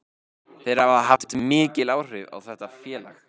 Þeir hafa haft mikil áhrif á þetta félag.